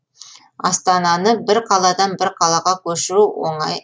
астананы бір қаладан бір қалаға көшіру деген оңай